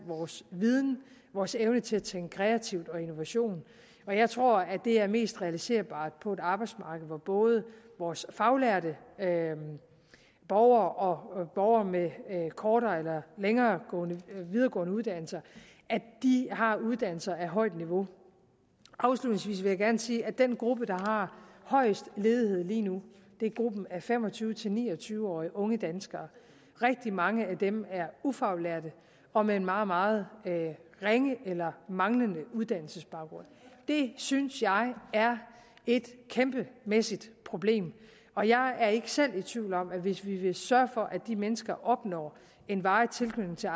vores viden og vores evne til at tænke kreativt og innovativt og jeg tror det er mest realiserbart på et arbejdsmarked hvor både vores faglærte borgere og borgere med kortere eller videregående uddannelser har uddannelser af højt niveau afslutningsvis vil jeg gerne sige at den gruppe der har højest ledighed lige nu er gruppen af fem og tyve til ni og tyve årige unge danskere rigtig mange af dem er ufaglærte og med en meget meget ringe eller manglende uddannelsesbaggrund det synes jeg er et kæmpemæssigt problem og jeg er ikke selv i tvivl om at hvis vi vil sørge for at de mennesker opnår en varig tilknytning til